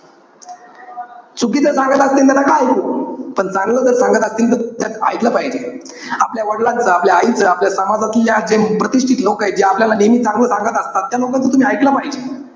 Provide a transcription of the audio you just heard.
चुकीचं सांगत असतील तर नका इकू. पण चांगलं जर सांगत असतील, तर एकल पाहिजे. आपल्या वडिलांचा, आपल्या आईचा, आपल्या समाजातल्या जे प्रतिष्टीत लोकय, जे आपल्याला नेहमी चांगलं सांगत असतात. त्या लोकांचं तुम्ही एकल पाहिजे.